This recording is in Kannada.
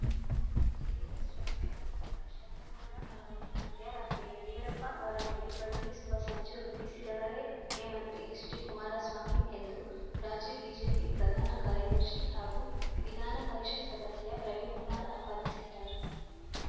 ಜೆಡಿಎಸ್‌ ಶಾಸಕರ ಪುತ್ರ ಶರಣಗೌಡ ಅವರನ್ನು ಮಧ್ಯರಾತ್ರಿ ಯಡಿಯೂರಪ್ಪ ಅವರ ಬಳಿ ಕಳುಹಿಸುವ ಸಂಚು ರೂಪಿಸಿದವರೇ ಮುಖ್ಯಮಂತ್ರಿ ಎಚ್‌ಡಿಕುಮಾರಸ್ವಾಮಿ ಎಂದು ರಾಜ್ಯ ಬಿಜೆಪಿ ಪ್ರಧಾನ ಕಾರ್ಯದರ್ಶಿ ಹಾಗೂ ವಿಧಾನ ಪರಿಷತ್‌ ಸದಸ್ಯ ರವಿಕುಮಾರ್‌ ಆಪಾದಿಸಿದ್ದಾರೆ